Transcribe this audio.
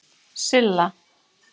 Silla